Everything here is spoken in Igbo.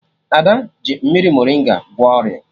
Ada ji mmiri morịnga gwọọ ọrịa